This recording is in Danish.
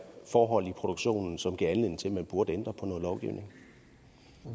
forhold i produktionen som gav anledning til at man burde ændre på